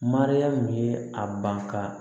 Mariyamu ye a ban ka